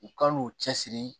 U kan'u cɛsiri